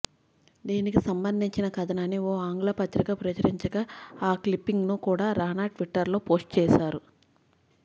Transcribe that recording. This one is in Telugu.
దీనికి సంబంధించిన కథనాన్ని ఓ ఆంగ్ల పత్రిక ప్రచురించగా ఆ క్లిప్పింగ్ను కూడా రానా ట్విట్టర్లో పోస్టు చేశారు